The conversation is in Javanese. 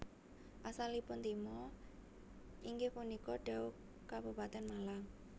Asalipun Timo inggih punika Dau Kabupaten Malang